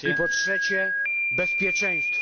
I po trzecie, bezpieczeństwo.